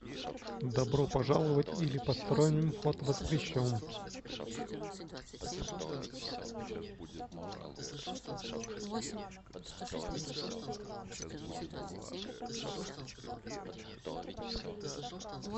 добро пожаловать или посторонним вход воспрещен